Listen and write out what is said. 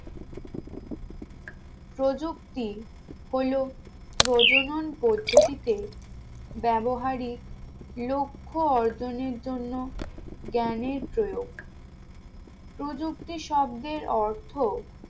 প্রযুক্তি হলো প্রজনন পদ্ধতিতে ব্যাবহারিক লক্ষ্য অর্জনের জন্য জ্ঞানের প্রয়োগ প্রযুক্তি শব্দের অর্থ